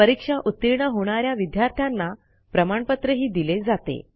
परीक्षा उतीर्ण होणा या विद्यार्थ्यांना प्रमाणपत्रही दिले जाते